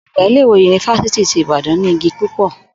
Ò̩gbà ilé-ìwé yunifásítì ti Ìbàdán ní igi púpò̩